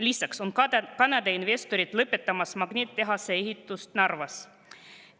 Lisaks on Kanada investorid lõpetamas magnetitehase ehitust Narvas.